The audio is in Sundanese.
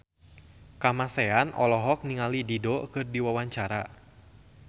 Kamasean olohok ningali Dido keur diwawancara